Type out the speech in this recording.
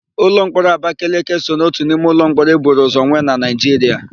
Ụlọmkpọrọ Abakeleke so n'ótù n'ime ụlọmkpọrọ e buru ụzọ nwe na Naịjiria.